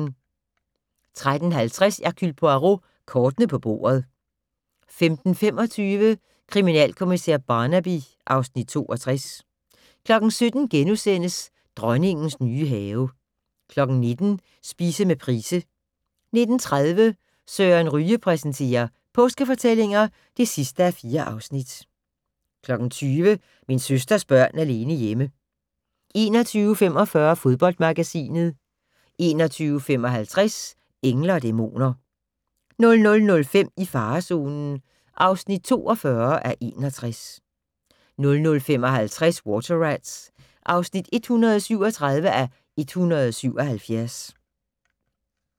13:50: Hercule Poirot: Kortene på bordet 15:25: Kriminalkommissær Barnaby (Afs. 62) 17:00: Dronningens nye have * 19:00: Spise med Price 19:30: Søren Ryge præsenterer: Påskefortællinger (4:4) 20:00: Min søsters børn alene hjemme 21:45: Fodboldmagasinet 21:55: Engle & dæmoner 00:05: I farezonen (42:61) 00:55: Water Rats (137:177)